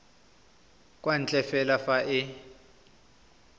kwa ntle fela fa e